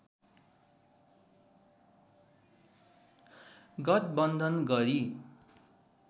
गठबन्धन गरी